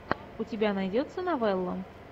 у тебя найдется новелла